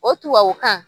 O tubabukan